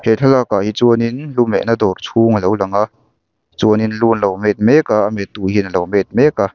he thlalak ah hi chuanin lu mehna dawr chhung alo lang a chuanin lu anlo met mek a a met tu hian alo met mek a.